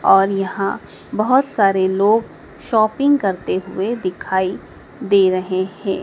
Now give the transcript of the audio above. और यहां बहोत सारे लोग शॉपिंग करते हुए दिखाई दे रहे हैं।